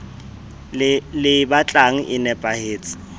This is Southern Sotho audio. le e batlang e nepahetse